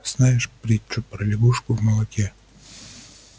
знаешь притчу про лягушку в молоке